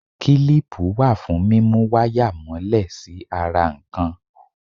Kílípù wà fún múmú wáyà mọ́lẹ̀ sí ara nǹkan.